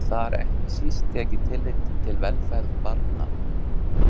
Skal þar ekki síst tekið tillit til velferðar barna.